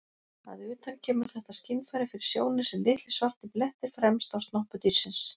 Að utan kemur þetta skynfæri fyrir sjónir sem litlir svartir blettir fremst á snoppu dýrsins.